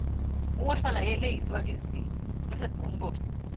n óò ṣàlàyé eléyìí síwájú sí i lọsẹ tó ń bọ